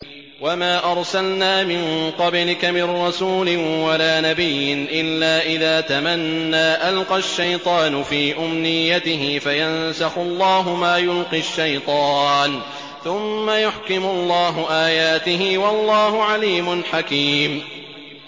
وَمَا أَرْسَلْنَا مِن قَبْلِكَ مِن رَّسُولٍ وَلَا نَبِيٍّ إِلَّا إِذَا تَمَنَّىٰ أَلْقَى الشَّيْطَانُ فِي أُمْنِيَّتِهِ فَيَنسَخُ اللَّهُ مَا يُلْقِي الشَّيْطَانُ ثُمَّ يُحْكِمُ اللَّهُ آيَاتِهِ ۗ وَاللَّهُ عَلِيمٌ حَكِيمٌ